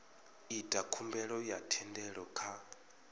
ita khumbelo ya thendelo kha